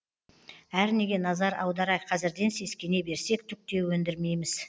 әрнеге назар аудара қазірден сескене берсек түк те өндірмейміз